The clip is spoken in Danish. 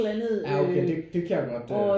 Ja okay det kan jeg godt øh